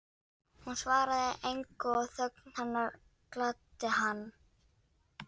Hún svaraði engu og þögn hennar gladdi hann.